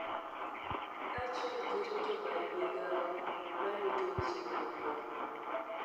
kaachiel gi rito bad migao ma rito weche mag lweny